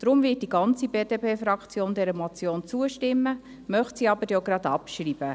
Deshalb wird die ganze BDP-Fraktion dieser Motion zustimmen, möchte sie aber gleich auch abschreiben.